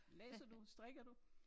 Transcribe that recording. Læser du? Strikker du?